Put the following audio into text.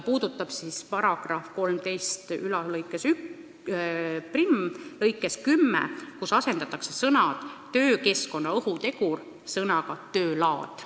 Nimelt, § 131 lõikes 10 asendatakse sõnad "töökeskkonna ohutegur" sõnadega "töö laad".